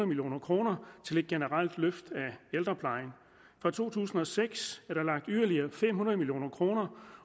million kroner til et generelt løft af ældreplejen fra to tusind og seks er der lagt yderligere fem hundrede million kroner